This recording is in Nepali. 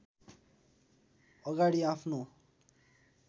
अगाडि आफ्नो